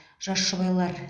жас жұбайлар